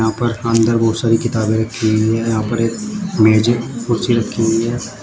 ऊपर अंदर बहोत सारी किताबें रखी हुई है यहां पर एक मेजे कुर्सी रखी हुई है।